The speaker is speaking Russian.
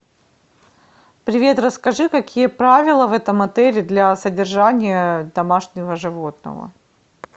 привет расскажи какие правила в этом отеле для содержания домашнего животного